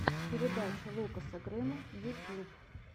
передача лукаса грэма ютьюб